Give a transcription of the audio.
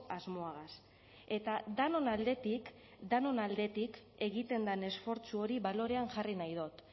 asmoagaz eta denon aldetik denon aldetik egiten den esfortzu hori balorean jarri nahi dut